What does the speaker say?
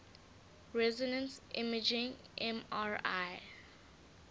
resonance imaging mri